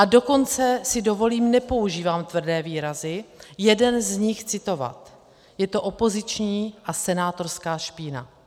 A dokonce si dovolím - nepoužívám tvrdé výrazy - jeden z nich citovat: "Je to opoziční a senátorská špína."